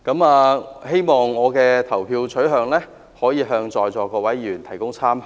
我希望我的投票取向，能為在座各位議員提供參考。